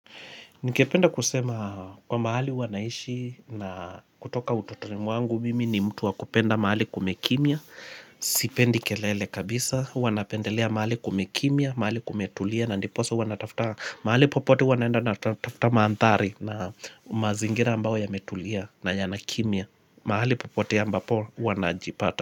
Ningependa kusema kwa mahali huwa naishi na kutoka utotoni mwangu mimi ni mtu wa kupenda mahali kumekimya, sipendi kelele kabisa, huwa napendelea mahali kumekimya, mahali kumetulia na ndiposa huwa natafta, mahali popote huwa naenda natafta maandhari na mazingira ambao yametulia na yanakimya, mahali popote ambapo huwa najipata.